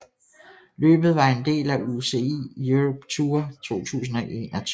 Løbet var en del af UCI Europe Tour 2021